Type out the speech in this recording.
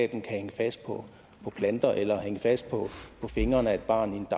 kan hænge fast på planter eller hænge fast på fingrene af et barn i en